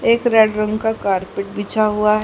एक रेड रंग का कारपेट बिछा हुआ है।